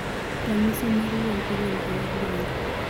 Ranhyisi mar wuon igolo e yor lweny